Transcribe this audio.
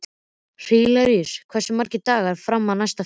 Hilaríus, hversu margir dagar fram að næsta fríi?